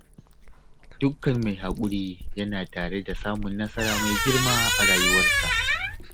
Dukkan mai haƙuri yana tare da samun nasara mai girma a rayuwarsa